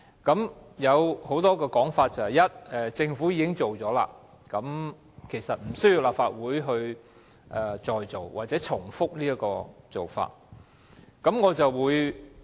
現時有很多說法，例如既然政府已經展開調查，所以立法會無須重複這項工作。